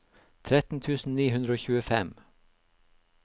tretten tusen ni hundre og tjuefem